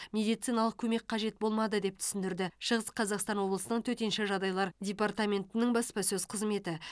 медициналық көмек қажет болмады деп түсіндірді шығыс қазақстан облысының төтенше жағдайлар департаментінің баспасөз қызметі